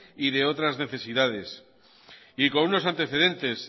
y otras necesidades y con unos antecedentes